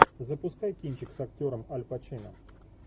запускай кинчик с актером аль пачино